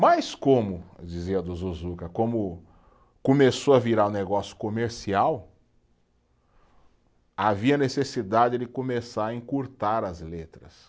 Mas como, dizia do Zuzuca, como começou a virar um negócio comercial, havia necessidade de começar a encurtar as letras.